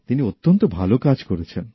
তিনি অত্যন্ত ভালো কাজ করছেন